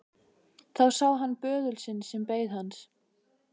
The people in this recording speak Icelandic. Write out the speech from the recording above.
Þá sá hann til böðulsins sem beið hans.